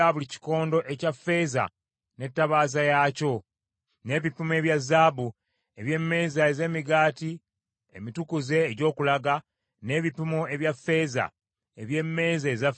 n’ebipimo ebya zaabu eby’emmeeza ez’emigaati emitukuze egy’okulaga, n’ebipimo ebya ffeeza eby’emmeeza eza ffeeza;